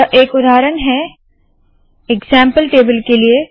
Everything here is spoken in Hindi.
यह एक उदाहरण है इग्ज़ैम्पल टेबल के लिए